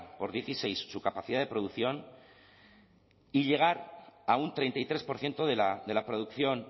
por dieciséis su capacidad de producción y llegar a un treinta y tres por ciento de la producción